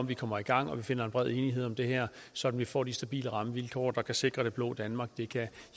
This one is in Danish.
vi kommer i gang og vi finder bred enighed om det her så vi får de stabile rammevilkår der kan sikre det blå danmark det kan